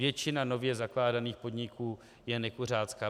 Většina nově zakládaných podniků je nekuřácká.